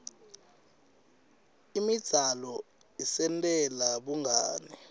imidzalo isentela bungani